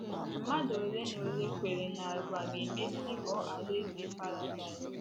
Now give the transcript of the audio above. Mmadụ ole na ole kweere na ụwa ga - emesị ghọọ alaeze paradaịs?.